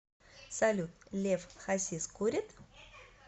салют лев хасис курит